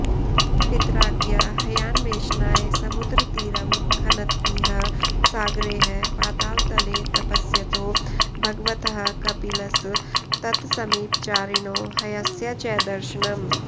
पित्राज्ञया हयान्वेषणाय समुद्रतीरं खनद्भिः सागरैः पातालतले तपस्यतो भगवतः कपिलस् तत्समीपचारिणो हयस्य च दर्शनम्